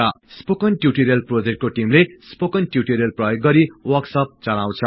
spoken tutorial प्रोजेक्टको टीमले spoken tutorial प्रयोग गरि वर्कसप चलाउछ